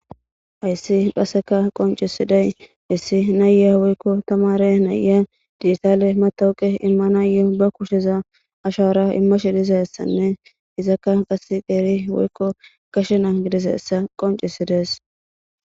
Ayssi qasseka qoncisiday issi naya woykko tamare naya digitaale matawuqe immanayu ba kusheza ashara imma shidizassanne izakka qas geeri woykko gashena gidiseessa qoncisidees.